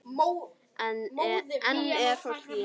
Enn er fólk í